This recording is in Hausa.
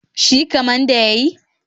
Shi kaman da ya yi?